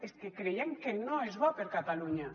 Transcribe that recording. és que creiem que no és bo per catalunya